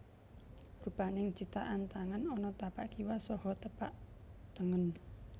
Rupaning cithakan tangan ana tapak kiwa saha tapak tengen